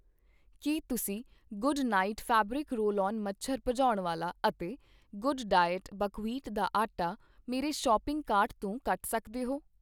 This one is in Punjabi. ਕੀ ਤੁਸੀਂ Good Knight fabric roll on ਮੱਛਰ ਭਜਾਉਣ ਵਾਲਾ ਅਤੇ ਗੱਡਡਾਇਟ ਬਕਵੀਟ ਦਾ ਆਟਾ ਮੇਰੇ ਸੌਪਿੰਗ ਕਾਰਟ ਤੋਂ ਕੱਟ ਸੱਕਦੇ ਹੋ ?